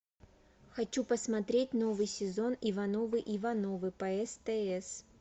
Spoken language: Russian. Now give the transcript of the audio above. хочу посмотреть новый сезон ивановы ивановы по стс